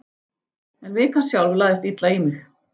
En vikan sjálf lagðist illa í mig.